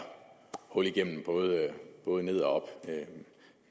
hul igennem både både ned og op